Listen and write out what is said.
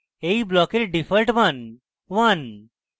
এই ব্লকের ডিফল্ট মান 1